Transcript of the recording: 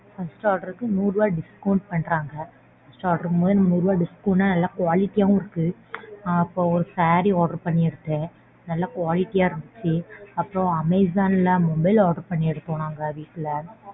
First order க்கு நூறு ரூபாய் discount பண்றாங்க. First order மூலமா நூறு ரூபாய் discount என்ன நல்லா quality ஆவும் இருக்கு. அப்புறம் ஒரு saree order பண்ணிருந்தேன் நல்லா quality ஆ இருந்துச்சு அப்புறம் Amazon ல mobile order பண்ணிருக்கோம் நாங்க வீட்ல.